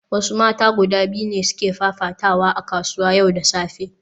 Wasu mata guda biyu ne suke fafatawa a kasuwa yau da safe